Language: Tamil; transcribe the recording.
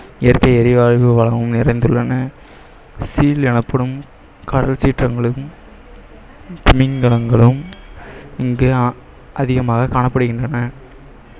இயற்கை எரிவாயு வளமும் நிறைந்துள்ளன seal எனப்படும் கடல் சீற்றங்களையும் திமிங்கலங்களும் இங்கே அஹ் அதிகமாக காணப்படுகின்றன